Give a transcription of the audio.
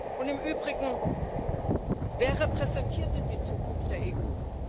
Und im Übrigen, wer repräsentiert denn die Zukunft der EU?